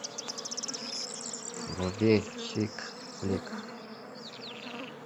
вруби чик флик